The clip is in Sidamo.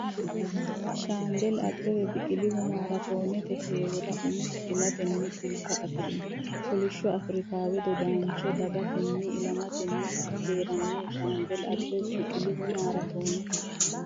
Shaambeli Abbebe Biqilihu maraatoonete heewora umiha fulatenni culka afi’rino kolishsho Afrikaawe dodaanchoo dhag- getenna ilamatenni hee’ranno Shaambeli Abbebe Biqilihu maraatoonete.